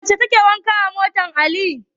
Wace ce take wanke motar Ali?